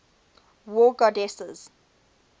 war goddesses